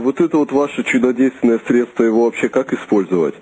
вот это вот ваше чудодейственное средство его вообще как использовать